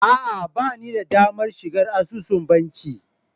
A'a ba ni da damar shiga asusun banki